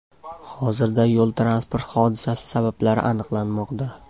Hozirda yo‘l-transport hodisasi sabablari aniqlanmoqda.